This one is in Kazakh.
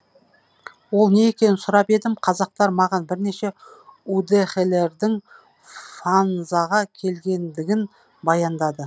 ол не екенін сұрап едім казактар маған бірнеше удэхелердің фанзаға келгендігін баяндады